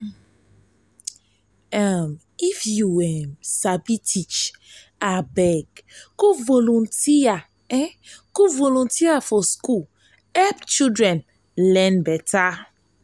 um if you um sabi teach abeg go volunteer volunteer for school help children learn um beta.